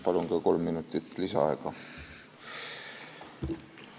Palun ka kolm minutit lisaaega!